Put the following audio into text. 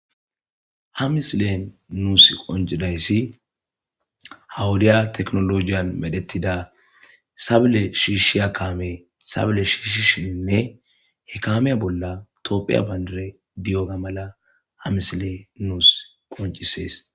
Ha misilen nuusi qoncidayssi ha wodiya teknolojiyan medhetida sable shiishiya kaame sable shiishishininne he kaamiya bolla tophphiya bandiray diyoga mala ha misiley nuus qoncises.